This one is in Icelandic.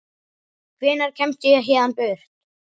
Hvenær kemst ég héðan burt?